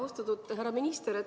Austatud härra minister!